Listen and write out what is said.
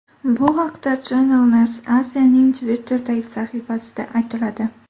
Bu haqda Channel New Asia’ning Twitter’dagi sahifasida aytiladi .